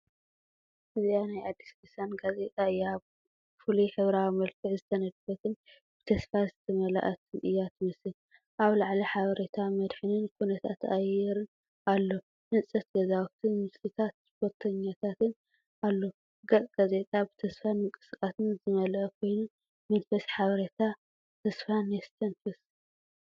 እዚኣ ናይ ኣዲስ ሊሳን ጋዜጣ እያ፣ ብፍሉይ ሕብራዊ መልክዕ ዝተነድፈትን ብተስፋ ዝተመልአትን እያ ትመስል። ኣብ ላዕሊ ሓበሬታ መድሕንን ኩነታት ኣየርን ኣሎ፡ ህንጸት ገዛውትን ምስልታት ስፖርተኛታትን ኣሎ። ገጽ ጋዜጣ ብተስፋን ምንቅስቓስን ዝመልአ ኮይኑ፡ መንፈስ ሓበሬታን ተስፋን የስተንፍስ።